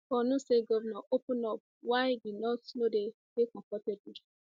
borno state govnor open up why di north no dey dey comfortable